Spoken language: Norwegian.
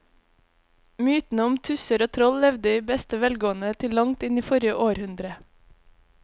Mytene om tusser og troll levde i beste velgående til langt inn i forrige århundre.